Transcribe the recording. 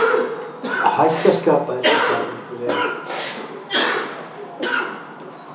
Hætta skapaðist í kjarnorkuveri